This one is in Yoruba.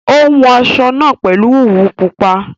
Ó hun aṣọ náà pèlú òwú pupa